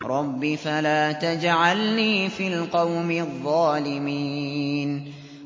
رَبِّ فَلَا تَجْعَلْنِي فِي الْقَوْمِ الظَّالِمِينَ